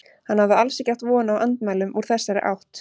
Hann hafði alls ekki átt von á andmælum úr þessari átt.